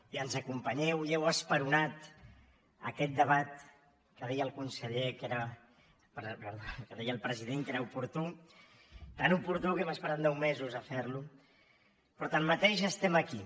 i ens acompanyeu i heu esperonat aquest debat que deia el president que era oportú tan oportú que hem esperat nou mesos a fer lo però tanmateix estem aquí